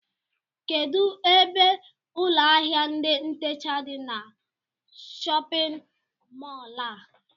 Kedụ ebe ụlọ áhiá ndị ntecha dị n'shóppin mol a?